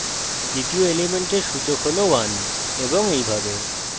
দ্বিতীয় element সূচক হল 1 এবং এইভাবে